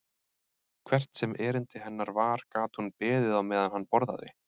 Hvert sem erindi hennar var gat hún beðið á meðan hann borðaði.